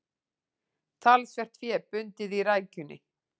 Talsvert fé bundið í rækjunni